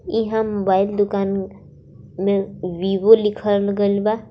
इहां मोबाइल दुकान में वीवो लिखल गइल बा।